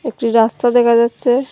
একটি রাস্তা দেখা যাচ্ছে।